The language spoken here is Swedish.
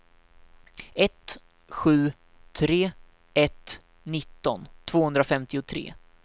ett sju tre ett nitton tvåhundrafemtiotre